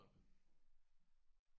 Hold da op!